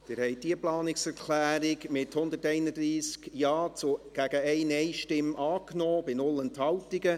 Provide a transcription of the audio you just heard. Sie haben diese Planungserklärung angenommen, mit 131 Ja-Stimmen gegen 1 NeinStimme bei 0 Enthaltungen.